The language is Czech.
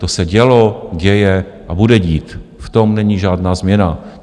To se dělo, děje a bude dít, v tom není žádná změna.